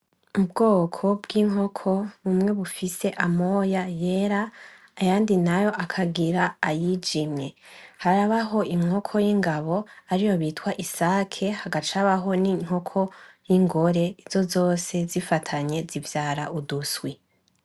Ubwoko bw'inkoko bumwe bufise amoya yera ayandi nayo akagira ayijimye harabaho inkoko y'ingabo ariyo bita isake hagaca haba n'inkoko y'ingore izo zose zifatanye zivyara uduswi.